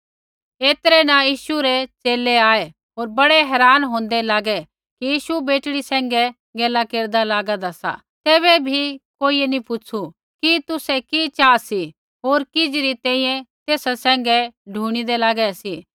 ऐतरै न यीशु रै च़ेले आऐ होर बड़े हेरान हौन्दे लागे कि यीशु बेटड़ी सैंघै गैला केरदै लागेदें सी तैबै भी कोइयै नी पुछ़ु कि तुसै कि चाहा सी होर किज़ी री तैंईंयैं तेसा सैंघै ढुणिदै लागै सी